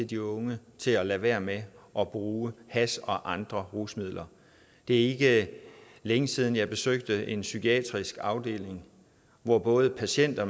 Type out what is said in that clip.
de unge til at lade være med at bruge hash og andre rusmidler det er ikke længe siden at jeg besøgte en psykiatrisk afdeling hvor både patienter